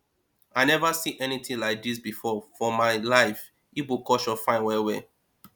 i never see anything like dis before for my life igbo culture fine well well